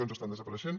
ens estan desapareixent